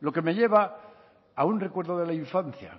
lo que me lleva a un recuerdo de la infancia